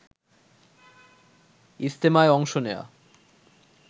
ইজতেমায় অংশ নেয়া